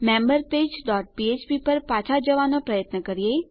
આપણા member page dot ફ્ફ્પ પર પાછા જવાનો પ્રયત્ન કરીએ